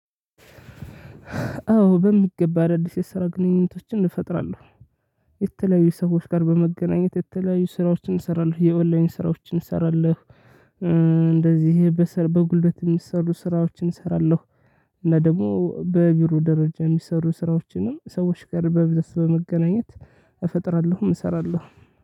አዎ በሚገባ አዳዲስ የስራ ግንኙነቶችን እፈጥራለሁ። የተለያዩ ሰዎች ጋር በመገናኘት የተለያዩ ስራዎችን እሰራለሁ የኦንላይን ስራዎችን እሰራለሁ። እንደዚህ በጉልበት የሚሰሩ ስራዎችን እሰራለሁ። እና ደግሞ በቢሮ ደረጃ የሚሰሩ ስራዎችንም ሰዎች ጋር በብዛት ለመገናኘት እፈጥራለሁም እሰራለሁም